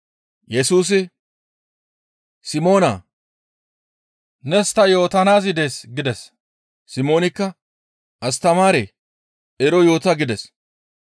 Yesusi, «Simoona! Nees ta yootanaazi dees» gides. Simoonikka, «Astamaaree! Ero yoota» gides.